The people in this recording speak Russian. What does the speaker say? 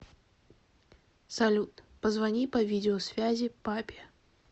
салют позвони по видео связи папе